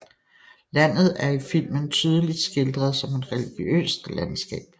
Landet er i filmen tydeligt skildret som et religiøst landskab